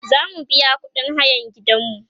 zamu biya ƙuɗin hayan gidanmu